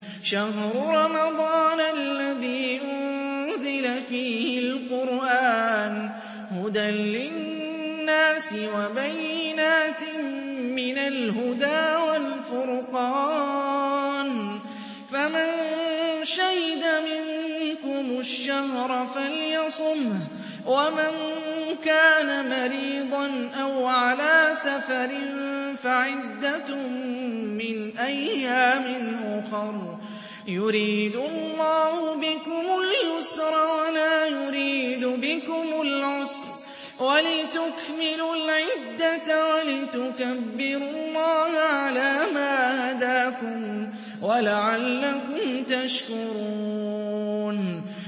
شَهْرُ رَمَضَانَ الَّذِي أُنزِلَ فِيهِ الْقُرْآنُ هُدًى لِّلنَّاسِ وَبَيِّنَاتٍ مِّنَ الْهُدَىٰ وَالْفُرْقَانِ ۚ فَمَن شَهِدَ مِنكُمُ الشَّهْرَ فَلْيَصُمْهُ ۖ وَمَن كَانَ مَرِيضًا أَوْ عَلَىٰ سَفَرٍ فَعِدَّةٌ مِّنْ أَيَّامٍ أُخَرَ ۗ يُرِيدُ اللَّهُ بِكُمُ الْيُسْرَ وَلَا يُرِيدُ بِكُمُ الْعُسْرَ وَلِتُكْمِلُوا الْعِدَّةَ وَلِتُكَبِّرُوا اللَّهَ عَلَىٰ مَا هَدَاكُمْ وَلَعَلَّكُمْ تَشْكُرُونَ